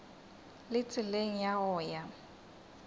le tseleng ya go ya